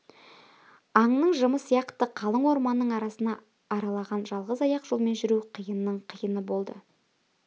аңның жымы сияқты қалың орманның арасын аралаған жалғыз аяқ жолмен жүру қиынның қиыны болды